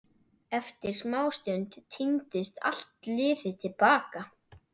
Eftir smástund tíndist allt liðið til baka.